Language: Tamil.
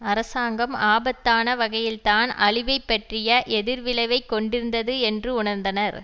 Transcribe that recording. அரசாங்கம் ஆபத்தான வகையில்தான் அழிவைப்பற்றிய எதிர்விளைவைக் கொண்டிருந்தது என்று உணர்ந்தனர்